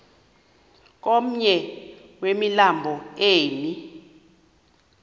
komnye wemilambo emi